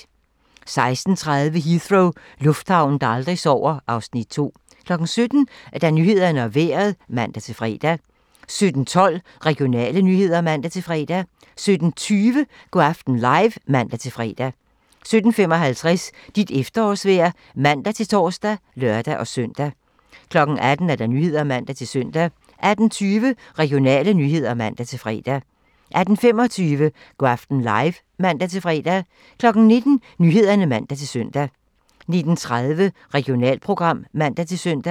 16:30: Heathrow - lufthavnen, der aldrig sover (Afs. 2) 17:00: Nyhederne og Vejret (man-fre) 17:12: Regionale nyheder (man-fre) 17:20: Go' aften live (man-fre) 17:55: Dit efterårsvejr (man-tor og lør-søn) 18:00: Nyhederne (man-søn) 18:20: Regionale nyheder (man-fre) 18:25: Go' aften live (man-fre) 19:00: Nyhederne (man-søn) 19:30: Regionalprogram (man-søn)